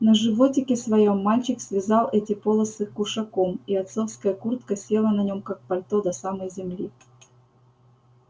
на животике своём мальчик связал эти полосы кушаком и отцовская куртка села на нем как пальто до самой земли